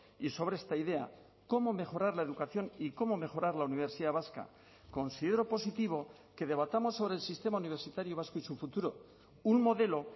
y sobre esta idea cómo mejorar la educación y cómo mejorar la universidad vasca considero positivo que debatamos sobre el sistema universitario vasco y su futuro un modelo